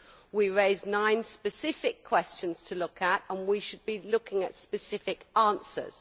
We raised nine specific questions to look at, and we should be looking at specific answers.